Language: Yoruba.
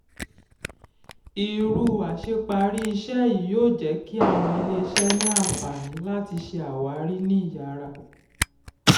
irú àṣeparí iṣẹ́ yìí yóò jẹ́ kí àwọn ilé-iṣẹ́ ní àǹfààní láti ṣe àwárí ní ìyára.